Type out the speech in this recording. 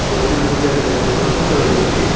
ছবিটির মধ্যে একটা আমরা দোকান দেখতে পাইতেসি।